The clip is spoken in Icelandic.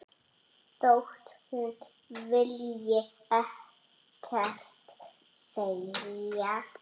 Þótt hún vilji ekkert segja.